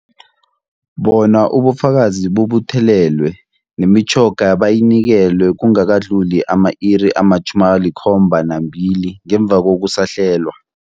Bona ubufakazi bubuthelelwe, nemitjhoga bayinikelwe kungakadluli ama-iri ama-72 ngemva kokusahlelwa.